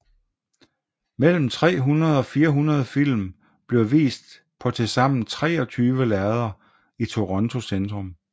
Mellem 300 og 400 film bliver vist på tilsammen 23 lærreder i Toronto centrum